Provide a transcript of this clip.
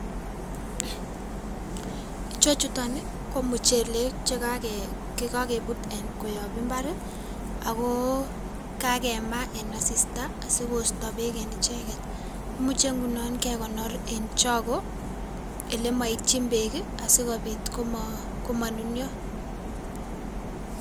Ichechuton ii komuchelek cheka chekakebut um koyob mbar ago kakema en asista asikosto beek en icheget. Imuche ngunon kekonor en chogo ilemoityin beek asikobit komonunio.